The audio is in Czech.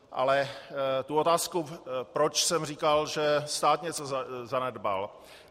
Ale tu otázku, proč jsem říkal, že stát něco zanedbal.